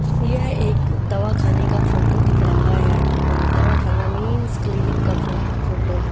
यह एक दवा खाने का फोटो दिख रहा है आपको। दवाखाना मीन्स क्लिनिक का फ़ो फोटो है।